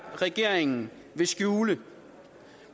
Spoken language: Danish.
regeringen vil skjule